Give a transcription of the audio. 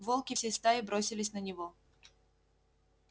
волки всей стаей бросились на него